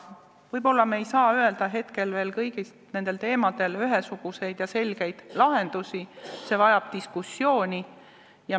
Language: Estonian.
Võib-olla ei saa me hetkel leida veel kõigil nendel teemadel ühesuguseid ja selgeid lahendusi, see vajab diskussiooni.